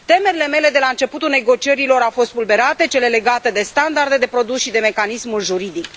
Temerile mele de la începutul negocierilor au fost spulberate, cele legate de standarde de produs și de mecanismul juridic.